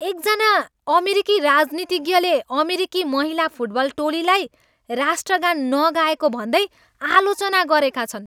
एकजना अमेरिकी राजनीतिज्ञले अमेरिकी महिला फुटबल टोलीलाई राष्ट्रगान नगाएको भन्दै आलोचना गरेका छन्।